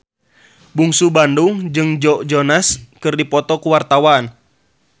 Bungsu Bandung jeung Joe Jonas keur dipoto ku wartawan